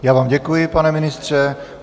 Já vám děkuji, pane ministře.